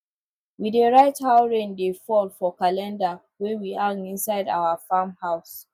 we dey write how rain dey fall for calendar wey we hang inside our farm house